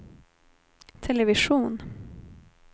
television